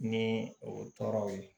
Ni o tɔɔrɔw ye